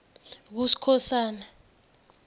kuskhosana